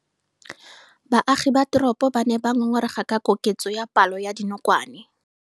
Baagi ba teropo ba ne ba ngongorega ka koketso ya palo ya dinokwane.